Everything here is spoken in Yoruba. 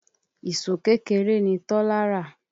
Ìṣó kékeré ni Tọ́lá rà.